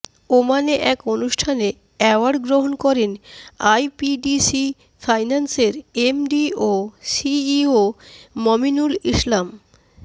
ওমানে এক অনুষ্ঠানে অ্যাওয়ার্ড গ্রহণ করেন আইপিডিসি ফাইন্যান্সের এমডি ও সিইও মমিনুল ইসলাম